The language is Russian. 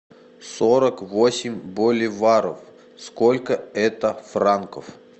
сорок восемь боливаров сколько это франков